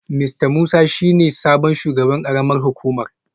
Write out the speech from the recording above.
Mista Musa shi ne sabon shugaban karamar hukumar